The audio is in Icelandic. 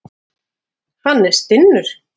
Hann er stinnur.